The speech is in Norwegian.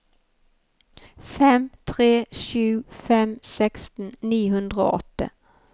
fem tre sju fem seksten ni hundre og åtte